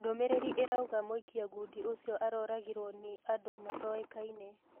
Ndũmĩrĩri irauga mũikia ngũndi ũcio aroragirwo nĩ andũ matoĩkaine.